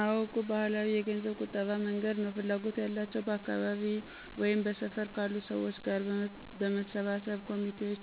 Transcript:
አዎ... እቁብ ባህላዊ የገንዘብ ቁጠባ መንገድ ነው። ፍላጎቱ ያላቸው በአካባቢው ወይም በሰፈር ካሉ ሰዎች ጋር በመሰባሰብ ኮሚቴዎች